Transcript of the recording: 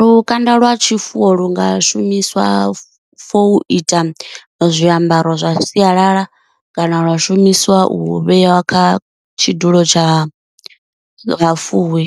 Lukanda lwa tshifuwo lu nga shumiswa for ita zwiambaro zwa sialala kana lwa shumiswa u vhea kha tshidulo tsha vhafuwi